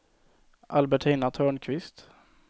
Albertina Törnqvist